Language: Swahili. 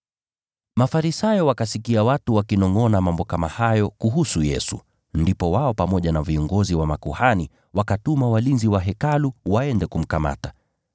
Mafarisayo wakasikia watu wakinongʼona mambo kama hayo kuhusu Yesu, ndipo wao pamoja na viongozi wa makuhani wakatuma walinzi wa Hekalu waende kumkamata.